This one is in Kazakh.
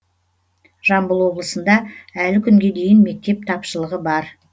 жамбыл облысында әлі кунге дейін мектеп тапшылығы бар